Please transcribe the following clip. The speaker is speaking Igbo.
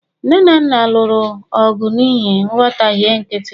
nne na nna ha lụrụ ọgụ n'ihi nghọtahie nkịtị